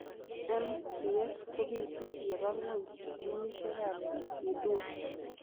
MPS kopituu yebaa ngweny ginisiek ap IDUA.